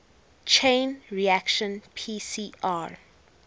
chain reaction pcr